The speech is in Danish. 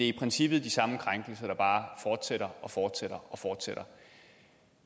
i princippet de samme krænkelser der bare fortsætter og fortsætter og fortsætter